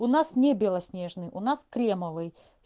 у нас не белоснежный у нас кремовый